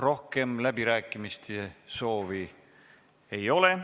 Rohkem läbirääkimise soovi ei ole.